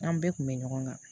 An bɛɛ kun bɛ ɲɔgɔn kan